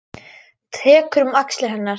Tekur um axlir hennar.